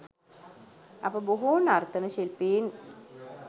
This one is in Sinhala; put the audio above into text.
අපේ බොහෝ නර්තන ශිල්පීන්